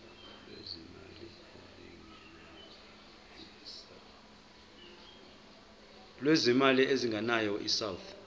lwezimali ezingenayo isouth